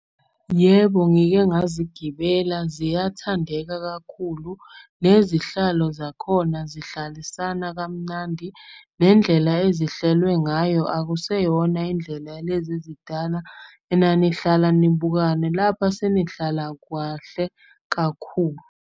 Yebo, ngike ngazigibela ziyathandeka kakhulu. Nezihlalo zakhona zihlalisana kamnandi, nendlela ezihlelwe ngayo akuseyona indlela lezi ezidala. Enanihlala nibukane, lapha senihlala kwahle kakhulu.